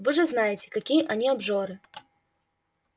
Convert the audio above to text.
вы же знаете какие они обжоры